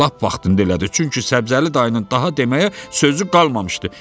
Lap vaxtında elədi, çünki Səbzəli dayının daha deməyə sözü qalmamışdı.